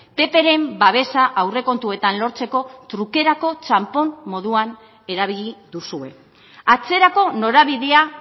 ppren babesa aurrekontuetan lortzeko trukerako txanpon moduan erabili duzue atzerako norabidea